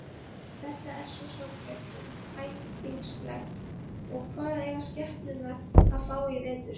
Þetta er svo sorglegt og tætingslegt og hvað eiga skepnurnar að fá í vetur.